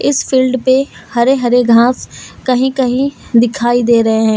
इस फील्ड पे हरे हरे घास कहीं कहीं दिखाई दे रहे हैं।